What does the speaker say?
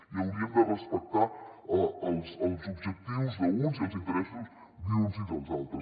i hauríem de respectar els objectius d’uns i els interessos d’uns i dels altres